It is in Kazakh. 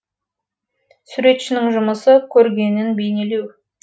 суретшінің жұмысы көргенін бейнелеу